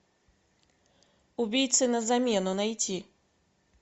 убийцы на замену найти